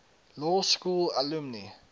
law school alumni